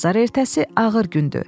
Bazar ertəsi ağır gündür.